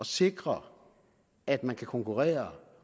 sikre at man kan konkurrere og